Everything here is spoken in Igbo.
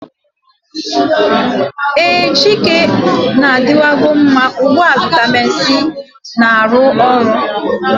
Ee, chika na-adịwan go mma ugbu a vitamin C na-arụ ọrụ.